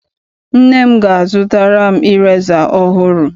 Nne m ga- azụtara m ireza ọhụrụ.